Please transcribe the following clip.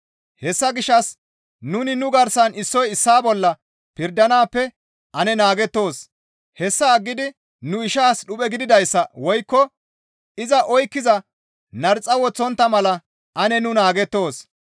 Hessa gishshas nuni nu garsan issoy issaa bolla pirdanaappe ane naagettoos; hessa aggidi nu ishaas dhuphe gidizayssa woykko iza oykkiza narxa woththontta mala ane nu naagettoos.